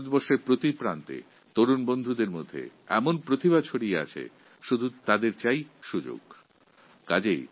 ভারতবর্ষের প্রতিটি কোণে প্রতিভাসম্পন্ন যুবাবন্ধু রয়েছে তাদের প্রয়োজন শুধু সুযোগের